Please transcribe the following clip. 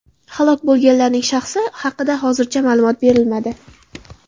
Halok bo‘lganlarning shaxsi haqida hozircha ma’lumot berilmadi.